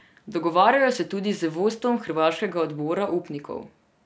Dogovarjajo se tudi z vodstvom hrvaškega odbora upnikov.